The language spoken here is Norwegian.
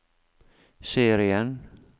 serien